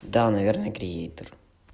да наверное греет уже